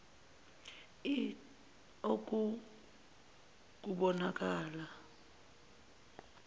l oku kubonakala